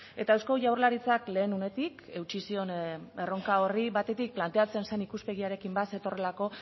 eta eusko jaurlaritzak lehen unetik eutsi zion erronka horri batetik planteatzen zen ikuspegiarekin bat zetorrelako